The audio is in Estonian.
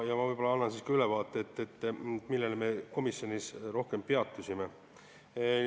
Ma annan ka ülevaate, millel me komisjonis rohkem peatusime.